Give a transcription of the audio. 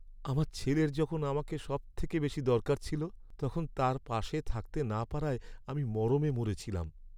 আমার ছেলের যখন আমাকে সবথেকে বেশি দরকার ছিল, তখন তার পাশে থাকতে না পারায় আমি মরমে মরে ছিলাম।